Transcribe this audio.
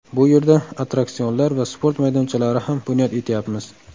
Bu yerda attraksionlar va sport maydonchalari ham bunyod etayapmiz.